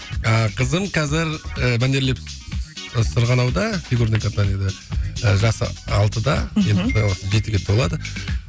ыыы қызым қазір ы мәнерлеп ы сырғанауда фигурное катаниеде ы жасы алтыда мхм енді құдай қаласа жетіге толады